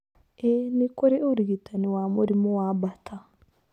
Ĩĩ, nĩ kũrĩ ũrigitani wa mũrimũ wa Bartter.